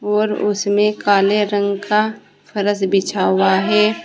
और उसमें काले रंग का फर्श बिछा हुआ है।